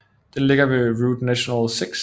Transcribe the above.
Den ligger ved Route nationale 6